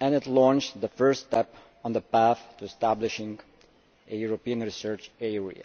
and it launched the first steps on the path to establishing a European Research Area.